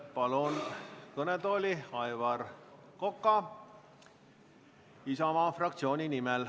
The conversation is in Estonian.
Palun kõnetooli Aivar Koka Isamaa fraktsiooni nimel.